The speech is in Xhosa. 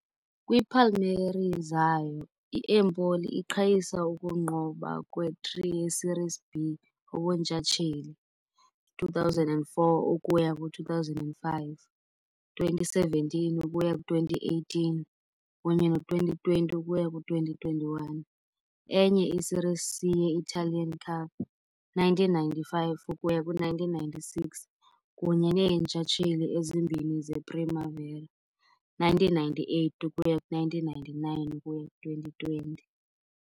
Kwiipalmares zayo, i-Empoli iqhayisa ukunqoba kwe-3 ye-Serie B ubuntshatsheli, 2004 ukuya ku-2005, 2017 ukuya ku-2018 kunye ne-2020 ukuya ku-2021, enye i-Serie C ye-Italian Cup, 1995 ukuya ku-1996, kunye neentshatsheli ezimbini ze-Primavera, 1998 ukuya ku-99 ukuya ku-2020.